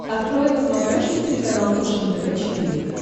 открой на смотрешке телеканал фэшен тв четыре к